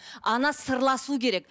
ана сырласу керек